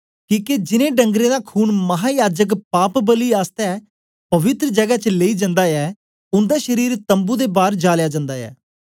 किके जिनैं डंगरें दा खून महायाजक पापबलि आसतै पवित्र जगै च लेई जन्दा ऐ उन्दा शरीर तम्बू दे बार जालया जन्दा ऐ